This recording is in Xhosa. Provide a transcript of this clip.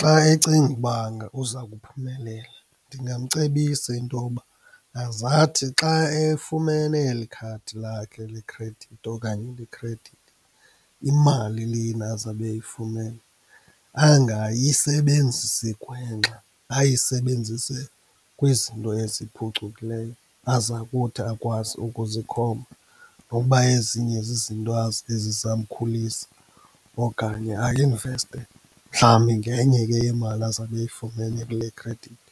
Xa ecinga ukuba uza kuphumelela ndingamcebisa intoba azathi xa efumene elikhadi lakhe lekhredithi okanye lekhredithi, imali lena azabe eyifumene angayisebenzisi gwenxa, ayisebenzise kwizinto eziphucukileyo aza kuthi akwazi ukuzikhomba. Nokuba ezinye zizinto ezizamkhulisa okanye ainveste mhlawumbi ngenye ke yemali azabe eyifumene kule khredithi.